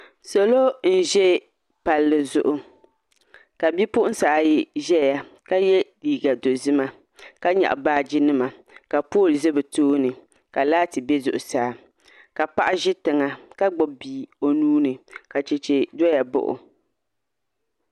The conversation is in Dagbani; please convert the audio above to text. Salo n ʒɛ palli zuɣu ka bipuɣunsi ayi ƶɛya ka yɛ liigq dizimaka nyaɣa baaji nima ka pool ʒɛ bi tooni ka laati bɛ zuɣusaa ka paɣa ʒi tiŋa ka gbubi bia o nuuni ka chɛchɛ doya baɣo